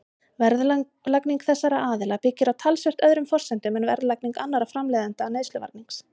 Verðlagning þessara aðila byggir á talsvert öðrum forsendum en verðlagning annarra framleiðenda neysluvarnings.